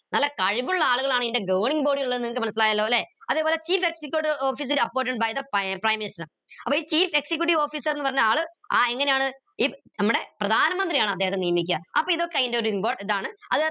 നല്ല കഴിവുള്ള ആളുകളാണ് ഈന്റെ governing body ള്ള നിങ്ങക്ക് മനസിലായാലോ ല്ലെ അതേപോലെ chief executive officer by the prime minister അപ്പൊ ഈ chief executive officer എന്ന പറഞ്ഞ ആൾ എങ്ങനെയാണ് ഇ നമ്മടെ പ്രധാനമന്ത്രിയാണ് അദ്ദേഹത്തെ നിയമിക്കാ അപ്പൊ ഇതൊക്കെ അയിന്റെ ഒരു ഇതാണ്